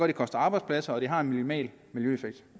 det koster arbejdspladser og at det har en minimal miljøeffekt